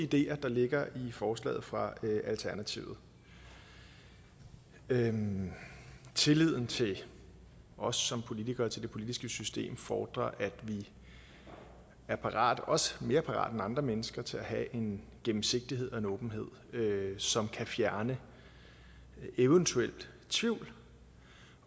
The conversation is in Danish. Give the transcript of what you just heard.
ideer der ligger i forslaget fra alternativet tilliden tilliden til os som politikere og til det politiske system fordrer at vi er parate også mere parate end andre mennesker til at have en gennemsigtighed og en åbenhed som kan fjerne eventuel tvivl